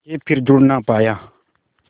के फिर जुड़ ना पाया